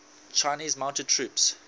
chinese mounted troops